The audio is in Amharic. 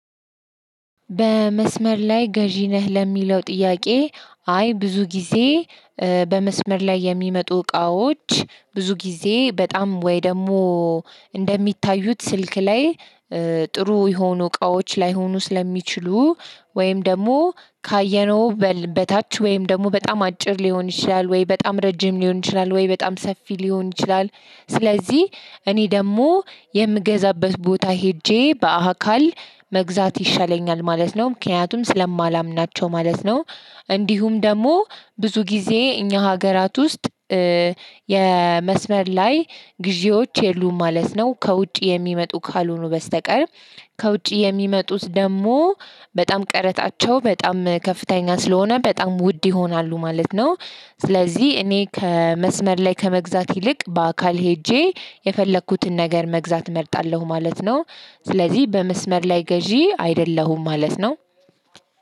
በመስመር ላይ ገዢ ነህ ለሚለው ጥያቄ? አይ ብዙ ጊዜ። በመስመር ላይ የሚመጡ እቃዎች ብዙ ጊዜ በጣም ወይ ደግሞ። እንደሚታዩት ስልክ ላይ ጥሩ የሆኑ እቃዎች ላይሆኑ ስለሚችሉ ወይም ደግሞ ካየነው በል በታች ወይም ደግሞ በጣም አጭር ሊሆን ይችላል ወይ በጣም ረጅም ሊሆን ይችላል ወይ በጣም ሰፊ ሊሆን ይችላል። ስለዚህ እኔ ደግሞ የምገዛበት ቦታ ሄጄ በአካል መግዛት ይሻለኛል ማለት ነው። ምክንያቱም ስለማላምናቸው ማለት ነው። እንዲሁም ደግሞ ብዙ ጊዜ እኛ ሀገራት ውስጥ የመስመር ላይ ግዢዎች የሉም ማለት ነው። ከውጭ የሚመጡ ካልሆኑ በስተቀር። ከውጪ የሚመጡት ደግሞ በጣም ቀረጣቸው በጣም ከፍተኛ ስለሆነ በጣም ውድ ይሆናሉ ማለት ነው። ስለዚህ እኔ ከመስመር ላይ ከመግዛት ይልቅ በአካል ሄጄ የፈለኩትን ነገር መግዛት እመርጣለሁ ማለት ነው። ስለዚህ በመስመር ላይ ገዢ አይደለሁም ማለት ነው።